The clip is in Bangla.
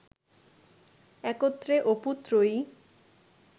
একত্রে অপু ত্রয়ী